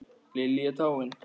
Lillý er dáin.